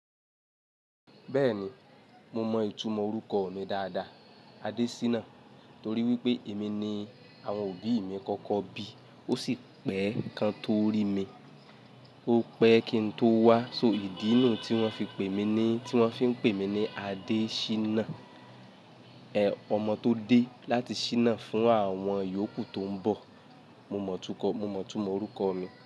Bẹ́ẹ̀ ni mo mọ ìtumọ̀ orúkọ mii dáadáa Adésínà torí wípé èmi ni àwọn òbí mi kọ́kọ́ bí ó sì pẹ́ẹ́ kan tó rí mi. Ó pẹ́ẹ́ kín tó wá so ìdí nuu tí wọ́n fi pè mí nii. Tí wọ́n fin pè mí ní Adéṣínà ọmọ tó dé láti ṣínà fún àwọn yòókù tó ń bọ̀. Mo mọ ìtumọ̀ orúkọ mi.